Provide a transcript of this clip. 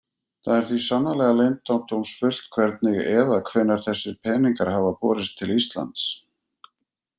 Það er því sannarlega leyndardómsfullt hvernig eða hvenær þessir peningar hafa borist til Íslands.